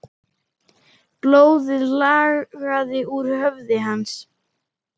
Blóðið lagaði úr höfði hans.